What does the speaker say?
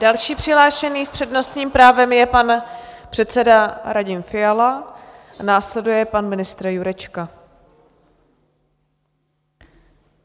Další přihlášený s přednostním právem je pan předseda Radim Fiala, následuje pan ministr Jurečka.